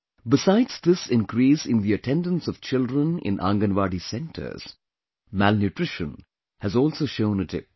Besides this increase in the attendance of children in Anganwadi centers, malnutrition has also shown a dip